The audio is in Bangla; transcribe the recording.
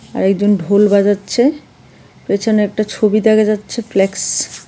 আরেকজন ঢোল বাজাচ্ছে। পেছনে একটা ছবি দেখা যাচ্ছে প্লেক্স ।